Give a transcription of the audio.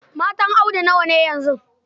Matan Audi nawa ne yanzu?